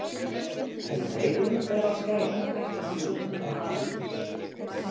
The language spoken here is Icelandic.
En um leið og hún fer að skæla hætta flugurnar að hamast innan í henni.